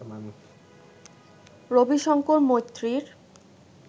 Rabi Shankar মৈত্রীর